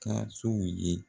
Ka sow ye